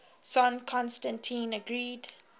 son constantine agreed